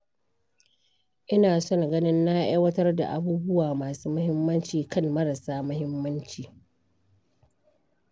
Ina son ganin na aiwatar da abubuwa masu muhimmanci kan marasa muhimmanci.